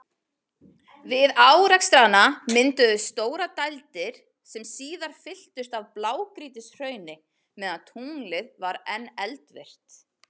Við árekstrana mynduðust stórar dældir, sem síðar fylltust af blágrýtishrauni meðan tunglið var enn eldvirkt.